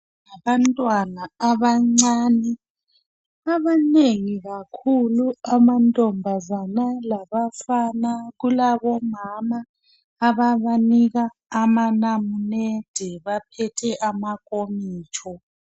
Abantwana abancane abanengi kakhulu amantombazana labafana . Kulabomama ababanika amanamunede baphethe amakomitsho.